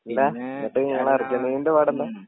ഇങ്ങളെ ന്നിട്ട് ഇങ്ങളെ അർജന്റീനൻ്റെ പാടെന്താ